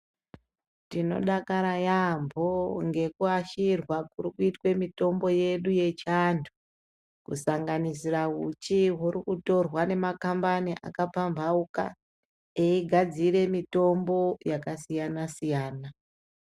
Tinodakara yaambho ngekuashirwa kuri kuitwe mitombo yedu yechianthu kusanganisira uchi huri kutorwa ngemakambani akapambauka eigadzire mitombo yakasiyana-siyana.